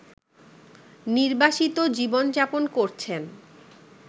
নির্বাসিত জীবনযাপন করছেন